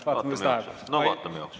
Vaatame, kuidas läheb.